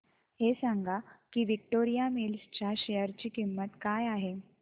हे सांगा की विक्टोरिया मिल्स च्या शेअर ची किंमत काय आहे